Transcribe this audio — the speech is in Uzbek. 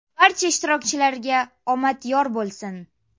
Barcha ishtirokchilarga omad yor bo‘lsin.